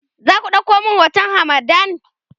zaku ɗauko min hoton hamadan?